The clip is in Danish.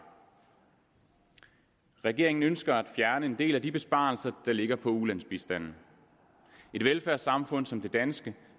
regeringen ønsker at fjerne en del af de besparelser der ligger på ulandsbistanden et velfærdssamfund som det danske